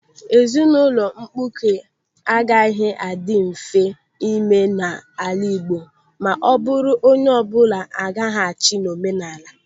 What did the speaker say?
Ezinụlọ mkpuke agaghị adị mfe ime n'ala Igbo ma o buru onye ọbụla agaghachi n'omenala.